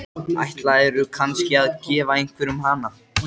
Hjálpaðu mér að biðja og beina huganum til þín.